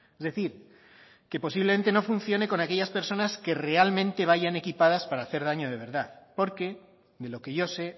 es decir que posiblemente no funcione con aquellas personas que realmente vayan equipadas para hacer daño de verdad porque de lo que yo sé